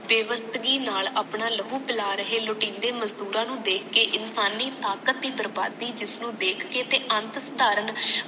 ਬੇਬਦਗੀ ਨਾਲ ਆਪਣਾ ਲਹੂ ਪੀ ਲਾ ਰਹੇ ਲੁਟੀਂਦੇ ਮਜਦੂਰਾਂ ਨੂੰ ਦੇਖ ਕੇ ਇਨਸਾਨੀ ਤਾਕਤ ਦੀ ਬਰਬਾਦੀ ਜਿਸਨੂੰ ਦੇਖ ਕੇ ਤੇ ਅਨੰਤ ਸੁਧਾਰਨ